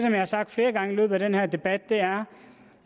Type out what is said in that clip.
jeg har sagt flere gange i løbet af den her debat er